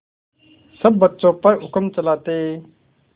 सब बच्चों पर हुक्म चलाते